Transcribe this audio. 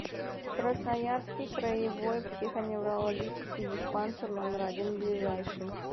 красноярский краевой психоневрологический диспансер номер один ближайший